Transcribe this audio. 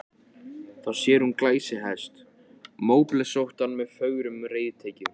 Þá sér hún glæsihest, móblesóttan með fögrum reiðtygjum.